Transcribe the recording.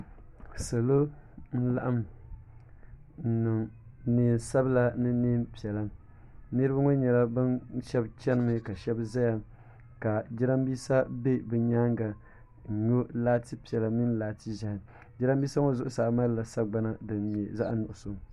salo n laɣim n yɛ nɛnsabila ni nɛɛnʒiɛhi niriba ŋɔ shɛbi chɛnimi ka shɛbi ʒɛya ka jarinibɛsa bɛ be nyɛŋa n yu laati piɛlla ni laati ʒiɛhi jarinibɛsa ŋɔ zuɣ saa malila sagbana ni di nyɛ zaɣ' nuɣisu